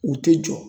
U tɛ jɔ